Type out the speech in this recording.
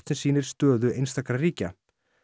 sem sýnir stöðu einstakra ríkja